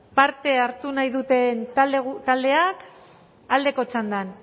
parte hartu nahi duten taldeak aldeko txandan